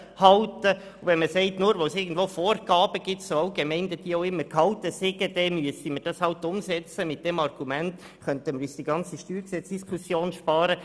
Mit dem Argument, es bestünden irgendwo Vorgaben, so allgemein diese auch gehalten sind, und man müsse diese einfach umsetzen, könnten wir uns die ganze StG-Diskussion ersparen.